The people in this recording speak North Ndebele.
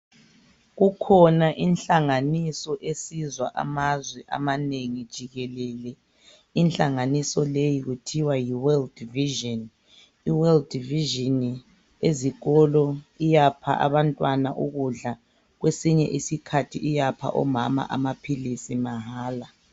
Kukhona inhlanganiso esiza amazwe emhlabeni jikelele, inhlanganiso leyi kuthiwa yi World Vision. I World Vision ezikolo iyapha abantwana ukudla kwesinye isikhathi iyapha omama amaphilisi mahala.